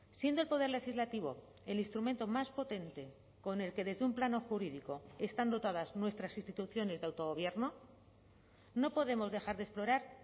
siendo el poder legislativo el instrumento más potente con el que desde un plano jurídico están dotadas nuestras instituciones de autogobierno no podemos dejar de explorar